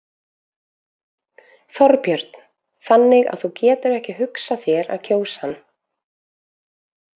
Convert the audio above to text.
Þorbjörn: Þannig að þú getur ekki hugsað þér að kjósa hann?